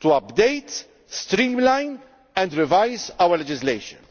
to update, streamline and revise our legislation.